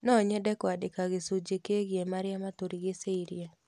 No nyende kũandĩka gĩcunjĩ kĩgiĩ marĩa matũrigicĩirie.